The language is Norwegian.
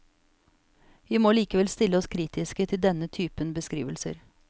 Vi må likevel stille oss kritiske til denne typen beskrivelser.